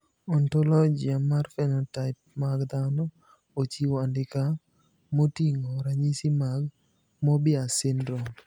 Ontologia mar phenotype mag dhano ochiwo andika moting`o ranyisi mag Moebius syndrome.